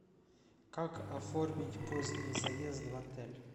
как оформить поздний заезд в отель